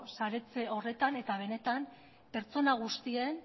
saretzen horretan eta benetan pertsona guztien